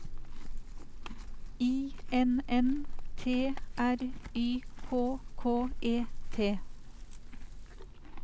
I N N T R Y K K E T